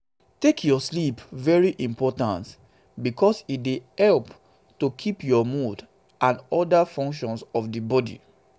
take your sleep very important because e dey help to keep your mood and oda functions for di body